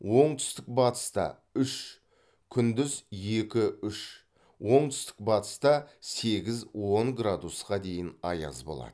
оңтүстік батыста үш күндіз екі үш оңтүстік батыста сегіз он градусқа дейін аяз болады